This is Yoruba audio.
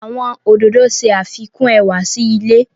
Àwọn ododo ṣe afikun ẹwa si ile